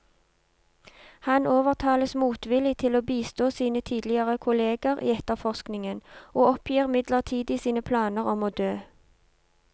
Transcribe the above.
Han overtales motvillig til å bistå sine tidligere kolleger i etterforskningen, og oppgir midlertidig sine planer om å dø.